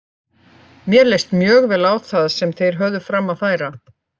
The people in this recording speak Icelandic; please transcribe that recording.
Mér leist mjög vel á það sem þeir höfðu fram að færa.